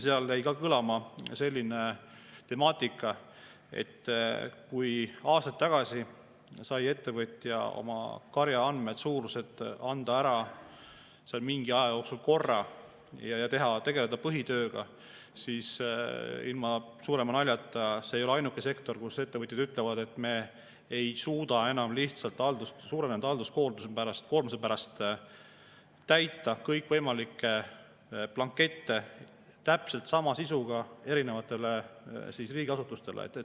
Seal jäi kõlama selline temaatika, et kui aastaid tagasi sai ettevõtja oma karja andmed, suuruse anda ära mingi aja jooksul korra ja tegeleda seejärel põhitööga, siis ilma suurema naljata, see ei ole ainuke sektor, kus ettevõtjad ütlevad, et nad ei suuda enam lihtsalt suurenenud hoolduskoormuse pärast täita kõikvõimalikke blankette täpselt sama sisuga erinevatele riigiasutustele.